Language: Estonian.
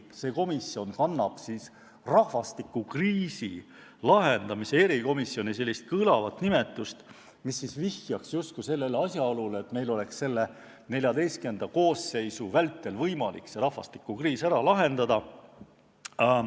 See komisjon kannab kõlavat rahvastikukriisi lahendamise probleemkomisjoni nimetust, mis viitab justkui väljavaatele, et meil on XIV koosseisu tööaja vältel võimalik rahvastikukriis ära lahendada.